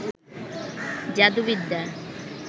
যাদু বিদ্যা